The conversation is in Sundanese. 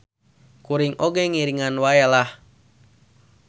Kuring oge ngiringan wae lah.